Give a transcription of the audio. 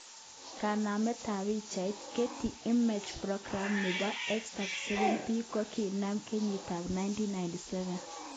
Kanamet tab pichainik, Getty Images Program neboX_37B kokinam kenyitab1999.